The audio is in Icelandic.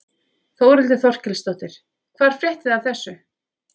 Þórhildur Þorkelsdóttir: Hvar fréttuð þið af þessu?